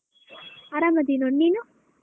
ಆರಾಮ್ ಇದೀನ್ ನೀನು?